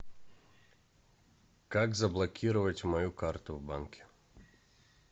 как заблокировать мою карту в банке